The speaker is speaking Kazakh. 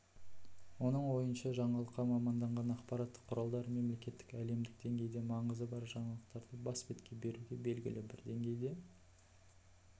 оның ойынша жаңалыққа маманданған ақпарат құралдары мемлекеттік әлемдік деңгейде маңызы бар жаңалықтарды бас бетке беруге белгілі бір деңгейде